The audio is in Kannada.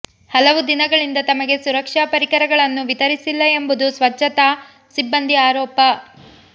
ಹಲವು ದಿನಗಳಿಂದ ತಮಗೆ ಸುರಕ್ಷಾ ಪರಿಕರಗಳನ್ನು ವಿತರಿಸಿಲ್ಲ ಎಂಬುದು ಸ್ವತ್ಛತಾ ಸಿಬ್ಬಂದಿ ಆರೋಪ